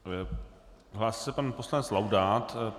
Hlásí se pan poslanec Laudát.